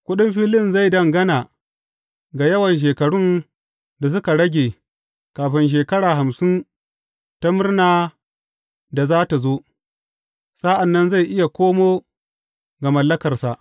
Kuɗin filin zai dangana ga yawan shekarun da suka rage kafin shekara hamsin ta murna da za tă zo; sa’an nan zai iya koma ga mallakarsa.